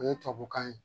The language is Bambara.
O ye tubabukan ye